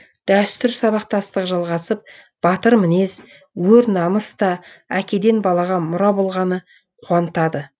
дәстүр сабақтастығы жалғасып батыр мінез өр намыс та әкеден балаға мұра болғаны қуантады